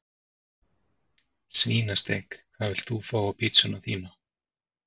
Svínasteik Hvað vilt þú fá á pizzuna þína?